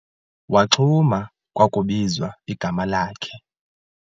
Waxhuma kwakubizwa igama lakhe.